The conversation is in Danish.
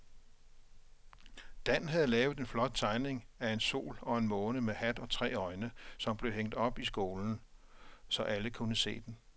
Dan havde lavet en flot tegning af en sol og en måne med hat og tre øjne, som blev hængt op i skolen, så alle kunne se den.